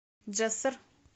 джессор